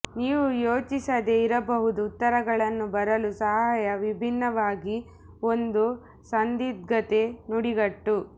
ನೀವು ಯೋಚಿಸದೆ ಇರಬಹುದು ಉತ್ತರಗಳನ್ನು ಬರಲು ಸಹಾಯ ವಿಭಿನ್ನವಾಗಿ ಒಂದು ಸಂದಿಗ್ಧತೆ ನುಡಿಗಟ್ಟು